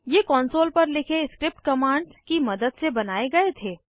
ये कॉन्सोल पर लिखे स्क्रिप्ट कमांड्स की मदद से बनाये गए थे